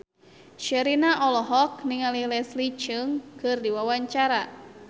Sherina olohok ningali Leslie Cheung keur diwawancara